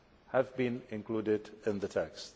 have been included in the text.